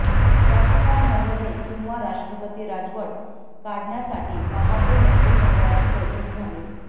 राज्यपाल महोदय किंवा राष्ट्रपती राजवट काढण्यासाठी पहाटे मंत्रिमंडळाची बैठक झाली